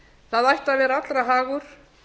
það ætti að vera allra hagur